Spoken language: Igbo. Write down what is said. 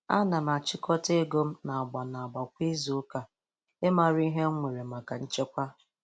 Ana m axhịkọta ego m n'agba n'agba kwa izu ụka ịmara ihe m nwere maka nchekwa.